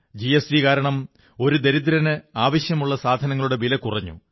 GST കാരണം ഒരു ദരിദ്രന് ആവശ്യമുള്ള സാധനങ്ങളുടെ വില കുറഞ്ഞു